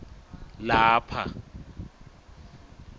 lapha